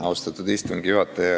Austatud istungi juhataja!